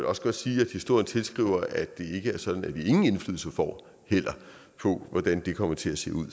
også godt sige at historien tilskriver at det heller ikke er sådan at vi ingen indflydelse får på hvordan det kommer til at se ud